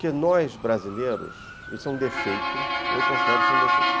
Porque nós, brasileiros, isso é um defeito, eu considero isso um defeito.